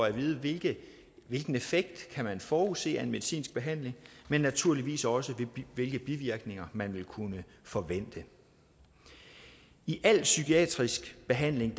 at vide vide hvilken effekt man kan forudse af en medicinsk behandling men naturligvis også hvilke bivirkninger man vil kunne forvente i al psykiatrisk behandling